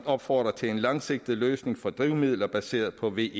opfordrer til en langsigtet løsning for drivmidler baseret på ve